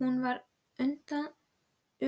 Hún var